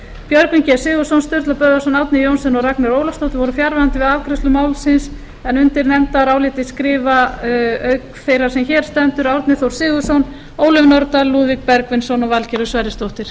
björgvin g sigurðsson sturla böðvarsson árni johnsen og ragnheiður ólafsdóttir voru fjarverandi við afgreiðslu málsins undir nefndarálitið skrifa auk þeirrar sem hér stendur árni þór sigurðsson ólöf nordal lúðvík bergvinsson og valgerður sverrisdóttir